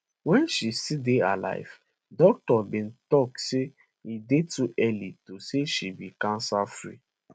wey she still dey alive doctors bin tok say e dey too early to say she be cancerfree